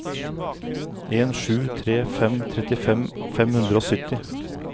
en sju tre fem trettifem fem hundre og sytti